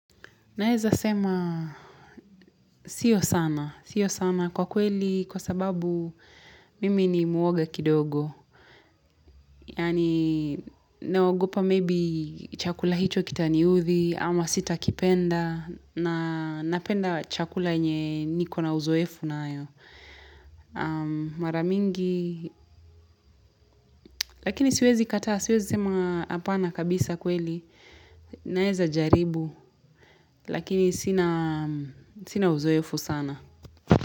Naeza sema sio sana. Sio sana kwa kweli kwa sababu mimi ni mwoga kidogo. Yaani naogopa maybe chakula hicho kitaniudhi ama sitakipenda na napenda chakula yenye niko na uzoefu nayo. Mara mingi lakini siwezi kataa siwezi sema hapana kabisa kweli. Naeza jaribu lakini sina sina uzoefu sana.